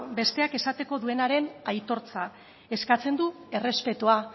besteak esateko duenaren aitortza eskatzen du errespetua